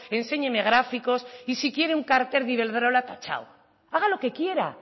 enséñeme gráficos y si quiere un cartel de iberdrola tachado haga lo que quiera